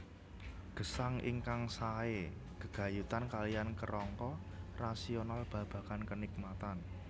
Gesang ingkang sae gegayutan kaliyan kerangka rasional babagan kenikmatan